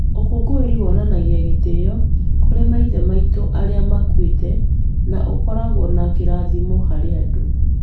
Ũkũngũĩri wonanagia gĩtĩo kũrĩ maithe maitũ arĩa makuĩte na ũkoragwo na kĩrathimo harĩ andũ.